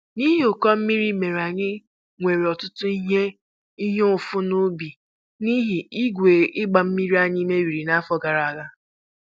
N'ihi ụkọ mmiri mere anyị nwere ọtụtụ ihe ihe mfu n'ubi n'ihi igwe ịgba mmiri anyị mebiri n'afọ gara aga